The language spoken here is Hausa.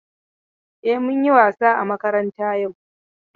E, mun yi wasa a makaranta yau.